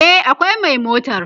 e akwai Mai a motar